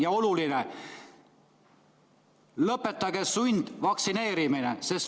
Ja oluline: lõpetage sundvaktsineerimine!